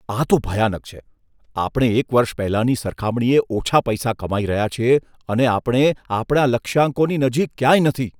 આ તો ભયાનક છે! આપણે એક વર્ષ પહેલાંની સરખામણીએ ઓછા પૈસા કમાઈ રહ્યા છીએ અને આપણે આપણા લક્ષ્યાંકોની નજીક ક્યાંય નથી.